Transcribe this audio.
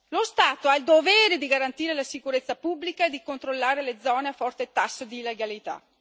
Lo Stato ha il dovere di garantire la sicurezza pubblica e di controllare le zone a forte tasso di illegalità.